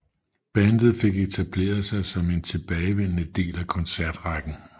Bandet fik etableret sig som en tilbagevendende del af koncertrækken